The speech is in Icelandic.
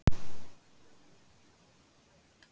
Katmandú